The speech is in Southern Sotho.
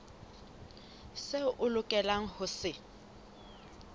seo o lokelang ho se